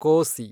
ಕೋಸಿ